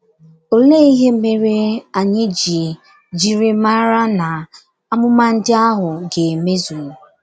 * Olee ihe mere anyị ji jiri mara n'amụma ndị ahụ ga - emezu?